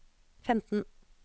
femten